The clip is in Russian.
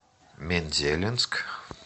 мензелинск